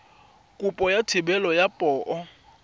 kopo ya thebolo ya poo